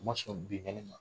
U ma sɔn binkali ma.